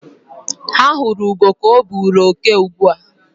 Ha huru ugo ka o buru oke ugbua